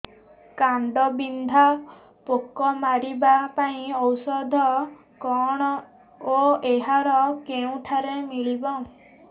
କାଣ୍ଡବିନ୍ଧା ପୋକ ମାରିବା ପାଇଁ ଔଷଧ କଣ ଓ ଏହା କେଉଁଠାରୁ ମିଳିବ